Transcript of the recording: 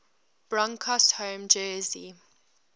broncos home jersey